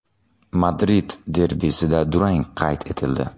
Madrid derbisida durang qayd etildi.